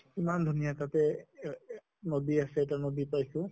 ইমান ধুনীয়া তাতে এ এহ নদী আছে, এটা নদী পাইছো